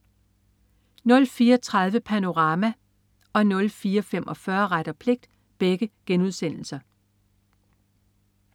04.30 Panorama* 04.45 Ret og pligt*